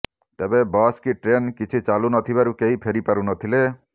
ତେବେ ବସ୍ କି ଟ୍ରେନ୍ କିଛି ଚାଲୁନଥିବାରୁ କେହି ଫେରି ପାରୁନଥିଲେ